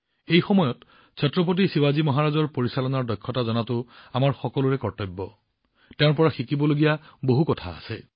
এই সুযোগতে ছত্ৰপতি শিৱাজী মহাৰাজৰ পৰিচালনাৰ দক্ষতা জনা আৰু তেওঁৰ পৰা শিকিব পৰাটো আমাৰ সকলোৰে কৰ্তব্য